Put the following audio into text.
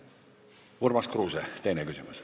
Urmas Kruuse, teine küsimus.